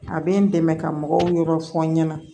A bɛ n dɛmɛ ka mɔgɔw yɔrɔ fɔ n ɲɛna